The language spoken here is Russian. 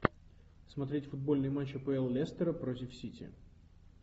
смотреть футбольный матч апл лестера против сити